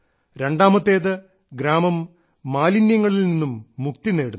രണ്ടാമത്തേത് ഗ്രാമം മാലിന്യങ്ങളിൽ നിന്നും മുക്തി നേടുന്നു